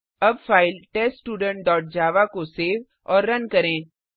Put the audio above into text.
अब file test student dot java को save और रन करें